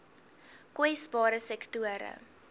kwesbare sektore